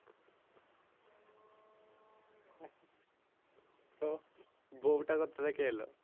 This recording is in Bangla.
তো বউটা কথা থেকে এলো?